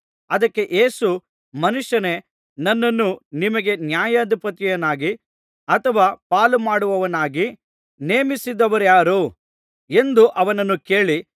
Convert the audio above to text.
ಅದಕ್ಕೆ ಯೇಸು ಮನುಷ್ಯನೇ ನನ್ನನ್ನು ನಿಮಗೆ ನ್ಯಾಯಾಧಿಪತಿಯನ್ನಾಗಿ ಅಥವಾ ಪಾಲುಮಾಡುವವನನ್ನಾಗಿ ನೇಮಿಸಿದವರಾರು ಎಂದು ಅವನನ್ನು ಕೇಳಿ